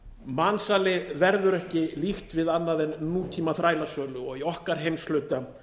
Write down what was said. mansali verður ekki líkt við annað en nútíma þrælasölu og í okkar heimshluta